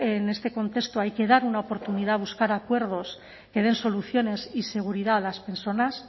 en este contexto hay que dar una oportunidad a buscar acuerdos que den soluciones y seguridad a las personas